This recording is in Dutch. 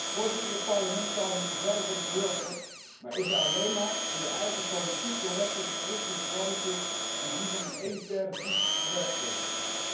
Voorzitter, dit Parlement zou er moeten zijn voor de burger, maar is er alleen maar om de eigen politiek correcte, verkwistende plannetjes en die van hun elitaire vriendjes te bewerkstelligen.